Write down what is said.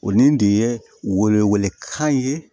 O nin de ye wele wele kan ye